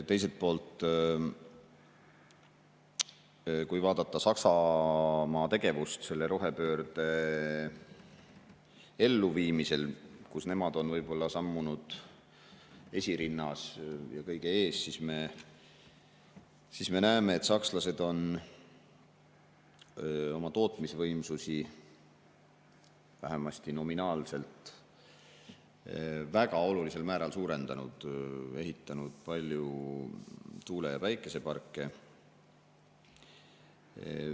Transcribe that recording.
Teiselt poolt, kui vaadata Saksamaa tegevust rohepöörde elluviimisel – nemad on võib‑olla sammunud seal esirinnas, kõige ees –, siis me näeme, et sakslased on oma tootmisvõimsusi vähemasti nominaalselt väga olulisel määral suurendanud, ehitanud palju tuule‑ ja päikeseparke.